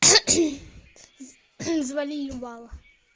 завали ебало